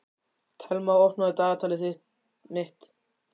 Thelma, opnaðu dagatalið mitt.